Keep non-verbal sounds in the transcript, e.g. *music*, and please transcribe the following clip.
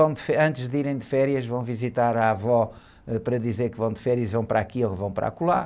Vão de... *unintelligible* Antes de irem de férias vão visitar a avó, ãh, para dizer que vão de férias, vão para aqui ou vão para acolá.